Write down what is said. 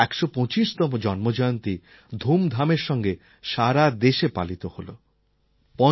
ওঁর ১২৫তম জন্মজয়ন্তী ধুমধামের সঙ্গে সারা দেশে পালিত হল